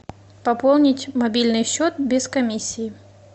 пополнить мобильный счет без комиссии